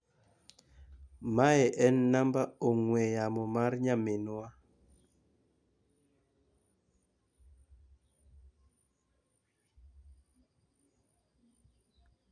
Mae en namba ong'ue yamo mar nyaminwa.